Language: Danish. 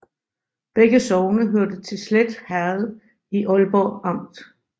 Begge sogne hørte til Slet Herred i Aalborg Amt